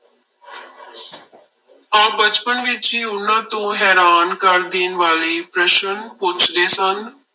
ਆਪ ਬਚਪਨ ਵਿੱਚ ਹੀ ਉਹਨਾਂ ਤੋਂ ਹੈਰਾਨ ਕਰ ਦੇਣ ਵਾਲੇ ਪ੍ਰਸ਼ਨ ਪੁੱਛਦੇ ਸਨ।